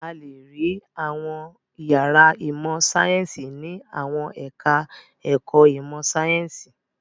A le rí àwọn ìyàrá ìmọ̀-sáyẹ́ńsì ní àwọn ẹ̀ka-ẹ̀kọ́ ìmọ̀-sáyẹ́ńsì.